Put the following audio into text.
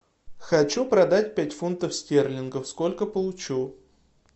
хочу продать пять фунтов стерлингов сколько получу